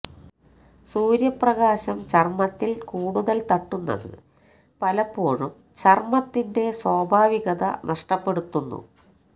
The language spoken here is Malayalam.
സൂര്യ പ്രകാശം ചര്മ്മത്തില് കൂടുതല് തട്ടുന്നത് പലപ്പോഴും ചര്മ്മത്തിന്റെ സ്വാഭാവികത നഷ്ടപ്പെടുത്തുന്നു